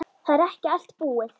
Það er ekki allt búið.